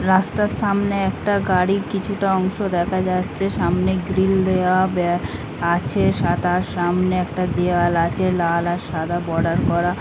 রাস্তার সামনে একটা গাড়ি কিছুটা অংশ দেখা যাচ্ছে সামনে গ্রিল দেয়া ব্যা-- আছে সাদা সামনে একটা দেয়াল আছে লাল আর সাদা বর্ডার করা।